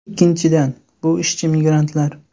Ikkinchidan, bu ishchi migrantlar.